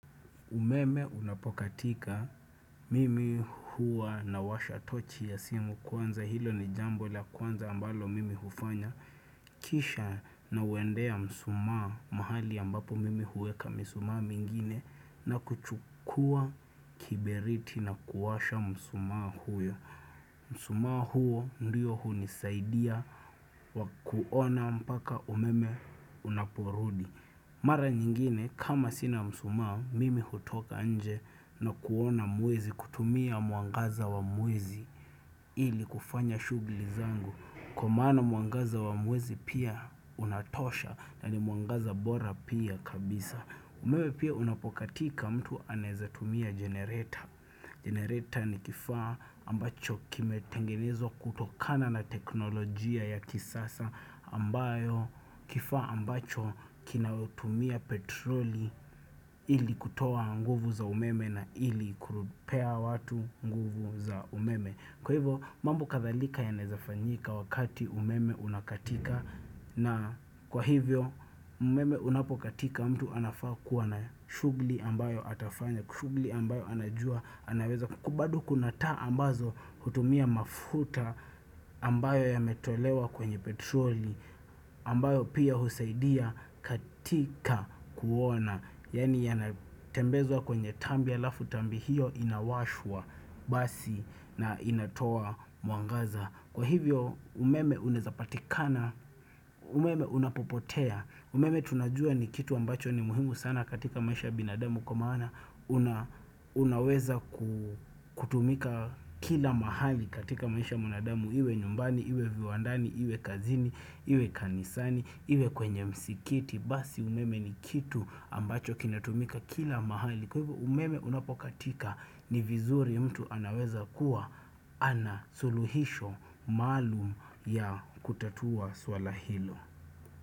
Umeme unapokatika mimi huwa na washa tochi ya simu kwanza hilo ni jambo la kwanza ambalo mimi hufanya. Kisha nauendea msumaa mahali ambapo mimi huweka msumaa mingine na kuchukua kiberiti na kuwasha msumaa huyo. Msumaa huo ndio huo hunisaidia kwa kuona mpaka umeme unaporudi. Mara nyingine, kama sina msumaa, mimi hutoka nje na kuona mwezi kutumia mwangaza wa mwezi ili kufanya shughuli zangu. Kwa maana mwangaza wa mwezi pia unatosha na ni mwangaza bora pia kabisa. Umewe pia unapokatika mtu anaezatumia generator. Generator ni kifaa ambacho kimetengenezwa kutokana na teknolojia ya kisasa ambayo kifaa ambacho kinaotumia petroli ili kutoa nguvu za umeme na ili kupea watu nguvu za umeme. Kwa hivyo mambo kadhalika yanaezafanyika wakati umeme unakatika na kwa hivyo umeme unapokatika mtu anafaa kuwa na shughuli ambayo atafanya, shughuli ambayo anajua anaweza kubadu kuna taa ambazo hutumia mafuta ambayo yametolewa kwenye petroli, ambayo pia husaidia katika kuona. Yaani yanatembezo kwenye tambi alafu tambi hiyo inawashwa basi na inatoa mwangaza Kwa hivyo umeme unezapatikana, umeme unapopotea umeme tunajua ni kitu ambacho ni muhimu sana katika maisha binadamu kwa maana una Unaweza kutumika kila mahali katika maisha ya binadamu Iwe nyumbani, iwe viwandani, iwe kazini, iwe kanisani, iwe kwenye msikiti Basi umeme ni kitu ambacho kinatumika kila mahali Kwa hivyo umeme unapokatika ni vizuri mtu anaweza kuwa ana suluhisho maalum ya kutatua swala hilo.